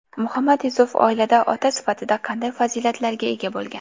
Muhammad Yusuf oilada ota sifatida qanday fazilatlarga ega bo‘lgan?